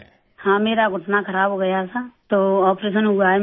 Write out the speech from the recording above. ہاں میرا گھٹنا خراب ہوگیا تھا، تو آپریشن ہوا ہے میرا